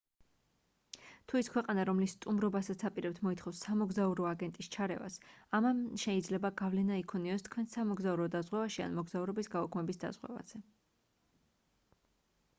თუ ის ქვეყანა რომლის სტუმობასაც აპირებთ მოითხოვს სამოგზაურო აგენტის ჩარევას ამა შეიძლება გავლენა იქონიოს თქვენს სამოგზაურო დაზღვევაში ან მოგზაურობის გაუქმების დაზღვევაზე